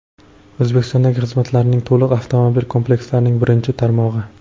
O‘zbekistondagi xizmatlarning to‘liq avtomobil komplekslarining birinchi tarmog‘i.